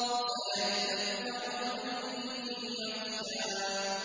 سَيَذَّكَّرُ مَن يَخْشَىٰ